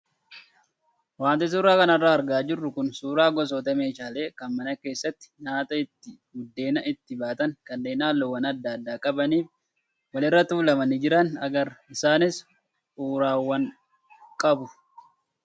Wanti suuraa kanarraa argaa jirru kun suuraa gosoota meeshaalee kan mana keessatti nyaata itti buddeena itti baatan kanneen halluuwwan adda addaa qabanii fi walirra tuulamanii jiran agarra. Isaanis uraawwan qabu.